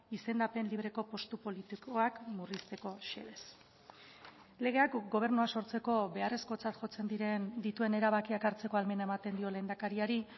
izendapen libreko postu politikoak murrizteko xedez legeak gobernua sortzeko beharrezkotzat jotzen diren dituen erabakiak hartzeko ahalmena ematen dio lehendakariari